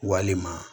Walima